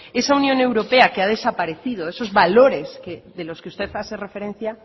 esa unión europea que ha desaparecido esos valores de los que usted hace referencia